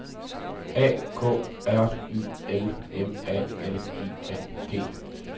A K R Y L M A L I N G